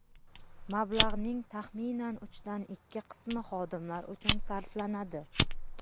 Mablag‘ning taxminan uchdan ikki qismi xodimlar uchun sarflanadi.